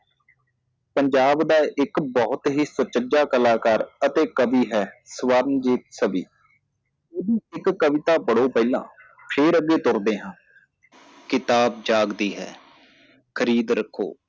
ਪੰਜਾਬ ਦਾ ਇੱਕ ਬਹੁਤ ਹੀ ਸੁਚੱਜਾ ਕਲਾਕਾਰ ਅਤੇ ਕਵੀ ਹੈ ਇਹਦੀ ਇੱਕ ਕਵਿਤਾ ਪੜ੍ਹੋ ਪਹਿਲਾ ਫੇਰ ਅੱਗੇ ਤੁਰਦੇ ਹਾਂ ਕਿਤਾਬ ਜਾਗਦੀ ਹੈ ਖਰੀਦ ਰਖੋ